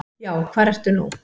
Já, hvar ertu nú?